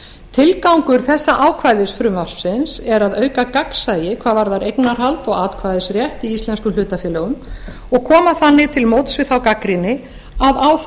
tilgangur þessa ákvæðis frumvarpsins er að auka gagnsæi hvað varðar eignarhald og atkvæðisrétt í íslenskum hlutafélögum og koma þannig til móts við þá gagnrýni að á það